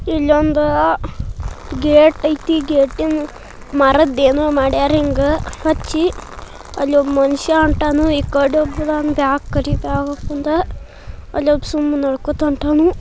ಇಲ್ಲೊಂದು ಗೇಟ್ ಐತಿ ಗೇಟಿನ ಮರದ ಎನೋ ಮಾಡ್ಯಾರ್ ಹಿಂಗ್ ಹಚ್ಚಿ ಅಲ್ ಒಬ ಮನುಷ್ಯ ಹೊಂಟನು ಇಕಡಿ ಒಬ ಅದನ್ ಅಲ್ಲ ಒಬ ಸುಮ್ನೆ ನಡ್ಕೊಂಡ್ ಹೋಗ್ತಾವ್ನ --